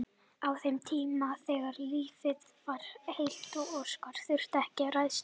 Á þeim tíma þegar lífið var heilt og óskir þurftu ekki að rætast.